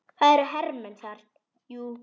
Það eru hermenn þar, jú.